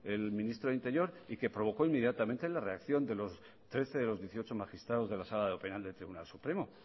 el ministro de interior y que provocó inmediatamente la reacción de trece de los dieciocho magistrados de la sala de lo penal del tribunal supremo